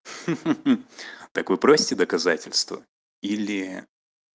ха ха так вы просите доказательства или